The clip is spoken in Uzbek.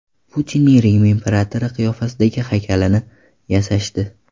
Putinning Rim imperatori qiyofasidagi haykalini yasashdi .